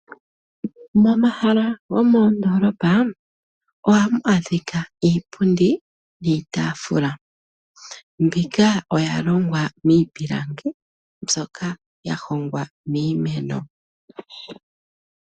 Momahala gomoondolopa ohamu adhika iipundi niitafula mbika oya longwa miipilangi mbyoka ya hongwa miimeno.